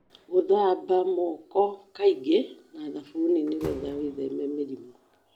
Gũthamba moko kaingĩ na thabuni nĩgetha wĩtheme mĩrimũ.